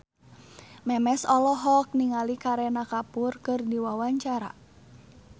Memes olohok ningali Kareena Kapoor keur diwawancara